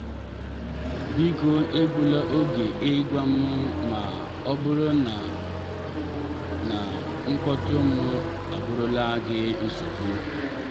biko egbụla oge ịgwa m ma ọbụrụ na na mkpọtụ m abụrụla gị nsogbu.